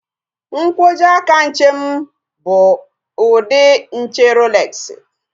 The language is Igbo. Nkwojiaka nche m bụ ụdị nche Roolexi